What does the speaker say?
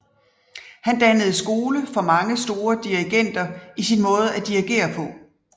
Han dannede skole for mange store dirigenter i sin måde at dirigere på